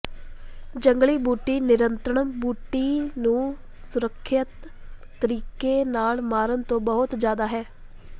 ਜੰਗਲੀ ਬੂਟੀ ਨਿਯੰਤਰਣ ਬੂਟੀ ਨੂੰ ਸੁਰੱਖਿਅਤ ਤਰੀਕੇ ਨਾਲ ਮਾਰਨ ਤੋਂ ਬਹੁਤ ਜਿਆਦਾ ਹੈ